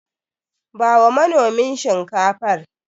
Bawa manomin Shinkafar.